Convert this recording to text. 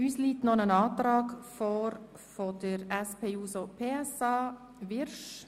Es liegt uns noch ein Antrag der SP-JUSO-PSA vor.